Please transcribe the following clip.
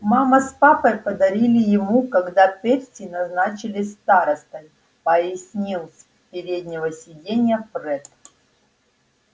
мама с папой подарили ему когда перси назначили старостой пояснил с переднего сиденья фред